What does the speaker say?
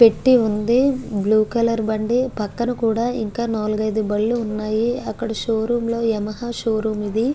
పెట్టి ఉంది blue colour బండి ఇంకా పక్కన కూడా నాలుగైదు బండ్లు ఉన్నాయి అక్కడ షో రూం లో. యమహా షో రూం ఇది.